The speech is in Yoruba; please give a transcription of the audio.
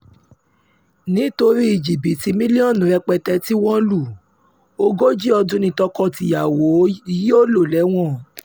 nítorí jìbìtì mílíọ̀nù rẹpẹtẹ tí wọ́n lu um ogójì ọdún ni tọkọ-tìyàwó um yìí yóò lò lẹ́wọ̀n